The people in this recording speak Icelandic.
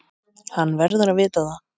Hann verður að vita það.